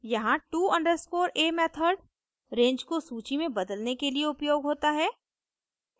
यहाँ to _a method range को सूची में बदलने के लिए उपयोग होता है